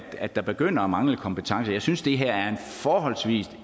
at der begynder at mangle kompetencer jeg synes det her er en forholdsvis